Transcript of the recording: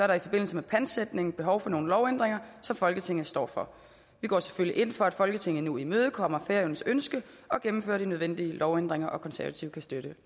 der i forbindelse med pantsætning behov for nogle lovændringer som folketinget står for vi går selvfølgelig ind for at folketinget nu imødekommer færøernes ønske og gennemfører de nødvendige lovændringer de konservative kan støtte